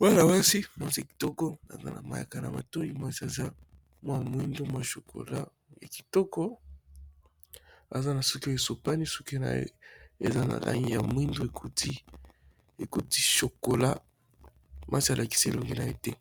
mwana mwasi mwasia kitoko aza na mayaka na matoi mwasi aza mwa mwindu mwa shokola ya kitoko, aza na suki esopani suki naye eza na langi ya mwindo ekoti shokola mwasi alakisi elongi na ye te.